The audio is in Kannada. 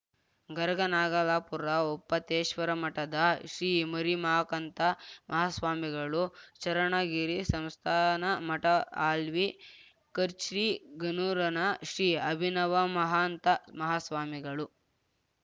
ಗರಗನಾಗಲಾಪೂರ ಒಪ್ಪತ್ತೇಶ್ವರಮಠದ ಶ್ರೀಮರಿಮಾಕಂತ ಮಾಹಾಸ್ವಾಮಿಗಳು ಚರಣಗಿರಿಸಂಸ್ಥಾನಮಠಹಾಲ್ವಿಖಚ್ರ್ಚಿಗನೂರನ ಶ್ರೀ ಅಭಿನವಮಾಹಾಂತ ಮಾಹಾಸ್ವಾಮಿಗಳು